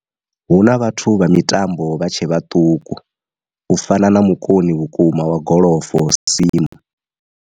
Hu na vhathu vha mitambo vha tshe vhaṱuku u fana mukoni vhukuma wa golofo Sim.